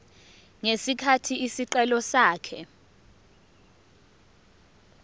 ngesikhathi isicelo sakhe